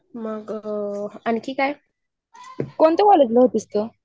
मग.. आणखी काय?